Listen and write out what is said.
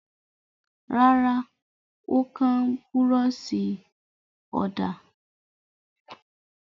Rárá, ó kán búrọ́ṣì ọ̀dà.